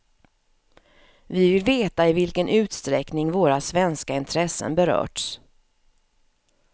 Vi vill veta i vilken utsträckning våra svenska intressen berörts.